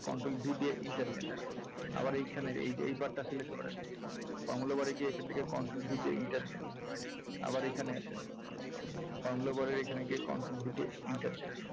control V দিয়ে enter দেন আবার এইখানের এই যে এই part টা select করেন formula bar এ গিয়ে এইখান থেকে control V দিয়ে enter দেন আবার এখানে আছে formula bar এ গিয়ে আবার control V দিয়ে enter দেন।